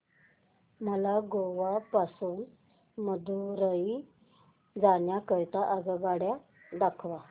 मला गोवा पासून मदुरई जाण्या करीता आगगाड्या दाखवा